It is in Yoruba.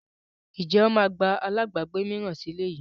Ǹjẹ́ wọn máa gba àlábagbé mìíràn sì ilé yìí?